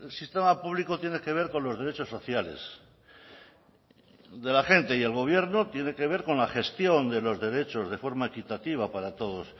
sistema público tiene que ver con los derechos sociales de la gente y el gobierno tiene que ver con la gestión de los derechos de forma equitativa para todos